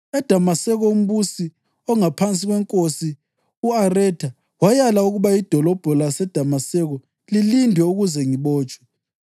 EDamaseko umbusi ongaphansi kweNkosi u-Aretha walaya ukuba idolobho laseDamaseko lilindwe ukuze ngibotshwe.